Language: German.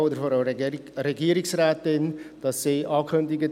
Wir kommen zur Abstimmung.